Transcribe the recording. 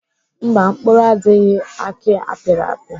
Mba, mkpụrụ adịghị aki apịrị apị.